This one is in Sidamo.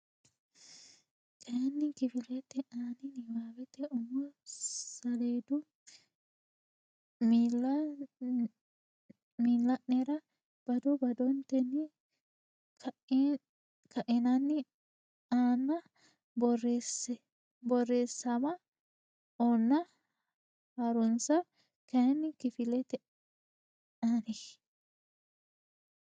kayinni kifilete ani niwaawete umo saleedu miilla nera bado badotenni ka inanni aana borreesseemma ona ha runse kayinni kifilete ani.